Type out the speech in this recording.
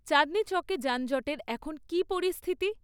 চাঁদনী চকে যানজটের এখন কী পরিস্থিতি?